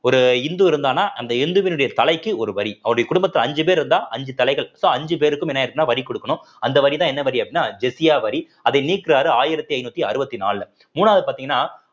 ஒரு இந்து இருந்தான்னா அந்த இந்துவினுடைய தலைக்கு ஒரு வரி அவருடைய குடும்பத்துல அஞ்சு பேர் இருந்தா அஞ்சு தலைகள் so அஞ்சு பேருக்கும் என்ன ஆயிருக்குன்னா வரி குடுக்கணும் அந்த வரிதான் என்ன வரி அப்படின்னா ஜிஸ்யா வரி அதை நீக்குறாரு ஆயிரத்தி ஐநூத்தி அறுவத்தி நாலுல மூணாவது பார்த்தீங்கன்னா